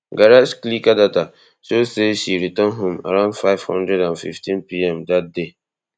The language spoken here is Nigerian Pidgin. garage clicker data show say she return home around five hundred and fifteen pm dat day